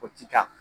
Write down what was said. O ti taa